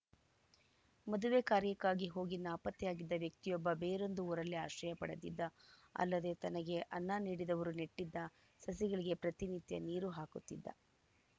ಮದುವೆ ಕಾರ್ಯಕ್ಕಾಗಿ ಹೋಗಿ ನಾಪತ್ತೆಯಾಗಿದ್ದ ವ್ಯಕ್ತಿಯೊಬ್ಬ ಬೇರೊಂದು ಊರಲ್ಲಿ ಆಶ್ರಯ ಪಡೆದಿದ್ದ ಅಲ್ಲದೇ ತನಗೆ ಅನ್ನ ನೀಡಿದವರು ನೆಟ್ಟಿದ್ದ ಸಸಿಗಳಿಗೆ ಪ್ರತಿ ನಿತ್ಯ ನೀರು ಹಾಕುತ್ತಿದ್ದ